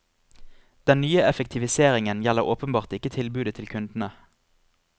Den nye effektiviseringen gjelder åpenbart ikke tilbudet til kundene.